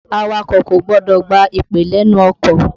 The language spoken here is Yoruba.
Awakọ̀ kò gbọdọ̀ gba ìpè lénu ọkọ̀.